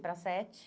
Para as sete.